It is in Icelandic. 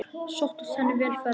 Sóttist henni vel ferðin.